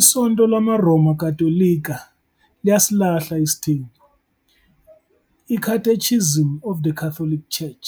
ISonto LamaRoma Katolika liyasilahla isithembu, "iCatechism of the Catholic Church"